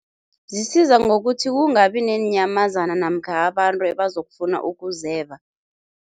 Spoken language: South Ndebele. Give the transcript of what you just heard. Zisiza ngokuthi kungabi neenyamazana namkha abantu ebazokufuna ukuzeba.